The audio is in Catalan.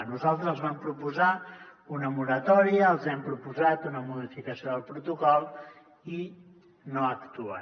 nosaltres vam proposar una moratòria els hem proposat una modificació del protocol i no actuen